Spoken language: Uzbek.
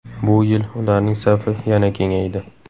Bu yil ularning safi yana kengaydi.